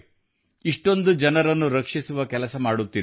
ಇಷ್ಟೊಂದು ಜನರನ್ನು ರಕ್ಷಿಸುವ ಕೆಲಸ ಮಾಡುತ್ತಿದ್ದಾರೆ